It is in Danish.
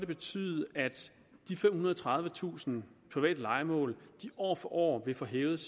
betyde at de femhundrede og tredivetusind private lejemål år for år vil få hævet